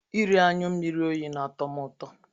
Iri anyụ mmiri oyi na-atọ m ụtọ.